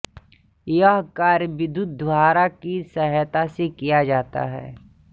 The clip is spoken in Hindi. यह कार्य विद्युद्धारा की सहायता से किया जाता है